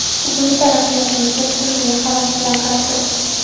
Bugungi taraqqiyotimizga butun dunyo havas bilan qarab turibdi.